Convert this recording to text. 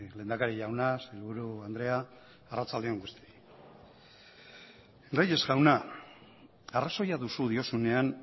lehendakari jauna sailburu andrea arratsalde on guztioi reyes jauna arrazoia duzu diozunean